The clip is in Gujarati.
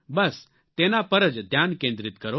બસ તેના પર જ ધ્યાન કેન્દ્રિત કરો